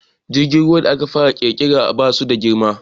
Jirgin ruwan da aka fara ƙirƙira ba su da girma